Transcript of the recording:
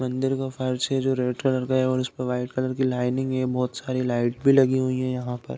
मंदिर का फर्श है जो रेड कलर का है और उसपे वाइट कलर की लाइनिंग है बहोत सारी लाइट भी लगी हुई हैं यहाँ पर।